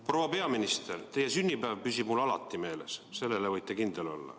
Proua peaminister, teie sünnipäev püsib mul alati meeles, selles võite kindel olla.